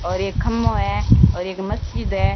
और एक खम्मो है और एक मस्जिद है।